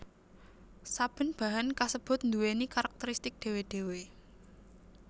Saben bahan kasebut nduwèni karakteristik dhéwé dhéwé